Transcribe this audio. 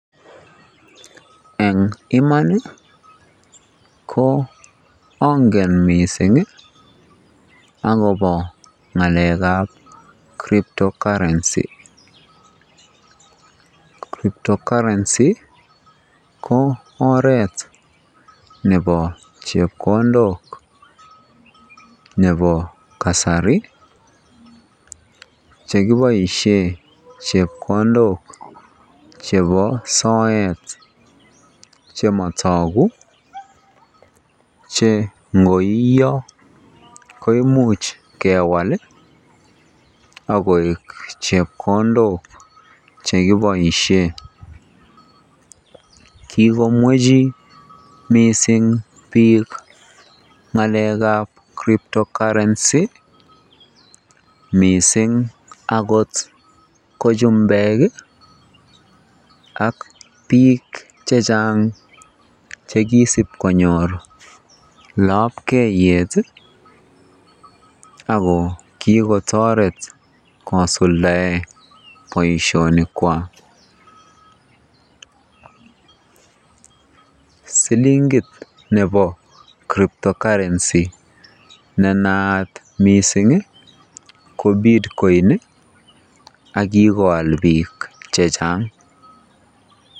Eng iman ko angen akobo ngalekab crypto currency, crypto currency ko oreet nebo chepkondok nebo kasari chekiboishen chepkondok chebo soet chemotoku che ngoiyo ko imuch kewal ak koik chepkondok chekiboishen, kikomwechi mising biik ngalekab crypto currency mising akot ko chumbek ak biik chechang chekisib konyor lobkeiyet ak ko kikotoret kosuldaen boishonikwak, silingit nebo crypto currency nenaat mising ko bitcoin ak kikoal biik chechang.